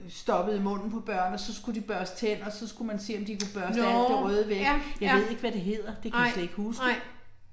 Nåh ja, ja. Nej. Nej